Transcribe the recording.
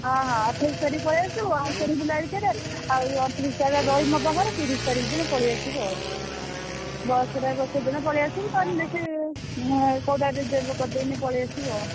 ହଁ ହଁ ଅଠେଇଶି ତାରିଖ୍ ପଳେଇଆସିବୁ। ଆମେ ସେଠି ବୁଲାବୁଲି କରିଆ ଆଉ ଅଣତିରିଶି ତାରିଖ୍ ରହିବୁ ମୋ ପାଖରେ ତିରିଶି ତାରିଖ୍ ଦିନ ପଳେଇଆସିବୁ ଆଉ bus ରେ ବସେଇଦେଲେ ପଳେଇଆସିବୁ ତୋର ଏଁ କୋଉଟା reserve କରିଦେଲେ ପଳେଇଆସିବୁ ଆଉ।